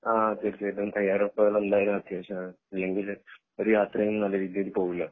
ആഹ് തീർച്ചയായിട്ടും തെയ്യാറെടുപ്പുകൾ എന്തായാലും അത്യാവിഷമാണ് അല്ലെങ്കിൽ ഒരു യാത്രയും നല്ല രീതിയിൽ പോകില്ല